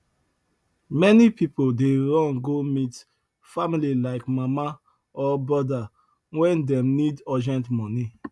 many people dey run go meet family like mama or brother when dem need urgent money